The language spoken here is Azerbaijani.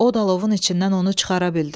o da alovun içindən onu çıxara bildi.